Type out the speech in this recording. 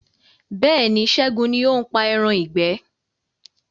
Bẹ́ẹ̀ni, Ṣẹgun ní o ń pa ẹran ìgbẹ́